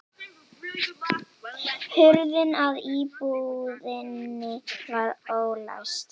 Hurðin að íbúðinni var ólæst